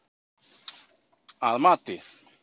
Að mati